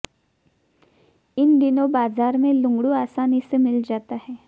इन दिनों बाजार में लुंगड़ू आसानी से मिल जाता है